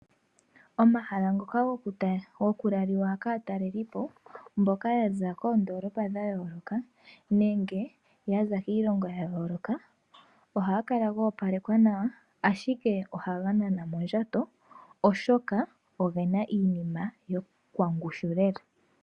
Omahala ngoka gokulaliwa kaatalelipo mboka ya za koondoolopa dha yooloka, nenge ya za kiilongo ya yooloka, ohaga kala ga opalekwa nawa, ashike ohaga nana mondjato oshoka oge na iinima yokwangushu lela.